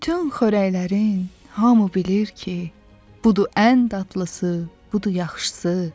Bütün xörəklərin hamı bilir ki, budur ən dadlısı, budur yaxşısı.